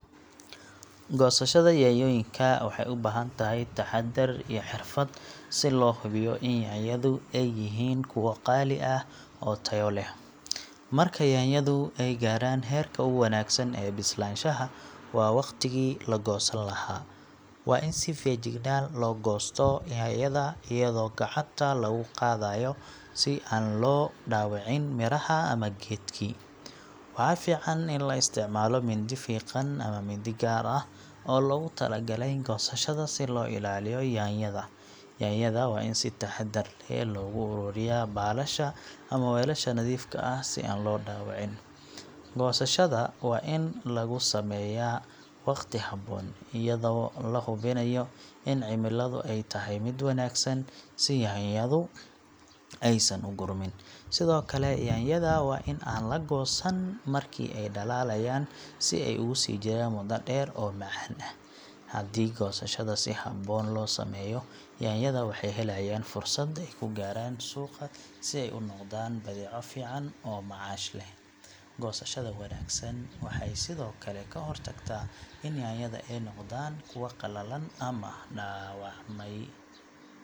Goosashada yaanyooyinka waxay u baahan tahay taxaddar iyo xirfad si loo hubiyo in yaanyadu ay yihiin kuwo qaali ah oo tayo leh. Marka yaanyadu ay gaaraan heerka ugu wanaagsan ee bislaanshaha, waa waqtigii la goosan lahaa. Waa in si feejigan loo goosto yaanyada, iyadoo gacanta lagu qaadayo si aan loo dhaawicin miraha ama geedkii. Waxaa fiican in la isticmaalo mindi fiiqan ama mindi gaar ah oo loogu tala galay goosashada si loo ilaaliyo yaanyada. Yaanyada waa in si taxaddar leh loogu ururiyaa baalasha ama weelasha nadiifka ah si aan loo dhaawicin. Goosashada waa in lagu sameeyaa waqti habboon, iyadoo la hubinayo in cimiladu ay tahay mid wanaagsan si yaanyadu aysan u gurmin. Sidoo kale, yaanyada waa in aan la goosan markii ay dhalaalayaan si ay ugu sii jiraan muddo dheer oo macaan ah. Haddii goosashada si habboon loo sameeyo, yaanyada waxay helayaan fursad ay ku gaaraan suuqa si ay ugu noqdaan badeeco fiican oo macaash leh. Goosashada wanaagsan waxay sidoo kale ka hortagtaa in yaanyada ay noqdaan kuwo qallalan ama dhaawacmay.